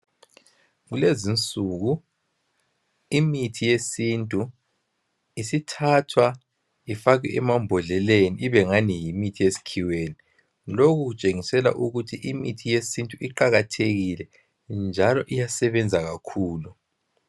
Kulezinsuku imithi yesintu isithathwa ifakwe emambodleleni ibengathi yimithi yesikhiweni. Lokhu kutshengisela ukuthi imithi yesintu iqakathekile njalo iyasebenza kakhulu.